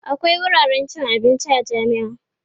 akwia wuraren cin abinci a jami'a